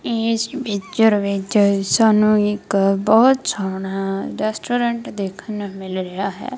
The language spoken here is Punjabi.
ਇਸ ਪਿਕਚਰ ਵਿਚ ਸਾਨੂੰ ਇੱਕ ਬਹੁਤ ਸੋਹਣਾ ਰੈਸਟੋਰੈਂਟ ਦੇਖਣ ਨੂੰ ਮਿਲ ਰਿਹਾ ਹੈ।